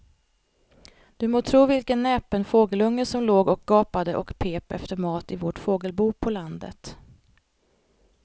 Du må tro vilken näpen fågelunge som låg och gapade och pep efter mat i vårt fågelbo på landet.